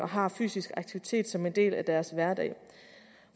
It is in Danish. har fysisk aktivitet som en del af deres hverdag